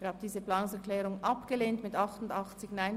Abstimmung (9.b Steuern und Dienstleistungen;